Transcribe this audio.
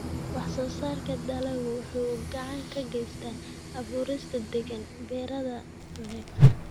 Wax-soo-saarka dalaggu wuxuu gacan ka geystaa abuurista deegaan beereed wanaagsan.